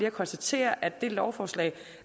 at konstatere at det lovforslag